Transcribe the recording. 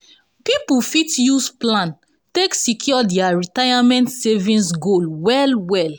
people fit use plan take secure dia retirement saving goals well well